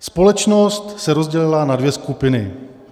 Společnost se rozdělila na dvě skupiny.